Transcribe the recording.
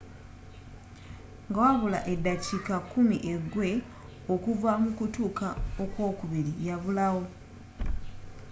nga wabula eddakiika kkumi egwe okuva mu kutuuka ok'wokubiri yabulawo